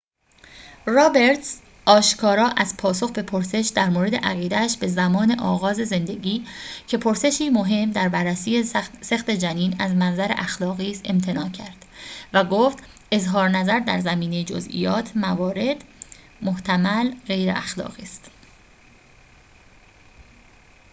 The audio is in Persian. رابرتز آشکارا از پاسخ به پرسش درمورد عقیده‌اش به زمان آغاز زندگی که پرسشی مهم در بررسی سقط جنین از منظر اخلاقی است امتناع کرد و گفت اظهارنظر در زمینه جزئیات موارد محتمل غیراخلاقی است